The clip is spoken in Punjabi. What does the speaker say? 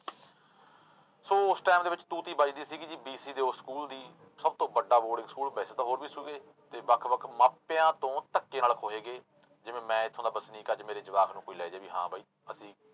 ਸੋ ਉਸ time ਦੇ ਵਿੱਚ ਤੂਤੀ ਵੱਜਦੀ ਸੀਗੀ ਜੀ BC ਦੇ ਉਸ ਸਕੂਲ ਦੀ ਸਭ ਤੋਂ ਵੱਡਾ ਬੋਰਡਿੰਗ ਸਕੂਲ ਵੈਸੇ ਤਾਂ ਹੋਰ ਵੀ ਸੀਗੇ ਤੇ ਵੱਖ ਵੱਖ ਮਾਪਿਆਂ ਤੋਂ ਧੱਕੇ ਨਾਲ ਖੋਹੇ ਗਏ ਜਿਵੇਂ ਮੈਂ ਇੱਥੋਂ ਦਾ ਵਸਨੀਕ ਅੱਜ ਮੇਰੇ ਜਵਾਕ ਨੂੰ ਕੋਈ ਲੈ ਜਾਏ ਵੀ ਹਾਂ ਬਾਈ ਅਸੀਂ